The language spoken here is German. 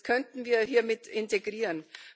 Das könnten wir hier integrieren.